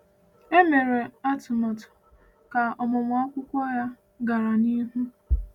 E mere atụmatụ ka ọmụmụ akwụkwọ ya gara n’ihu.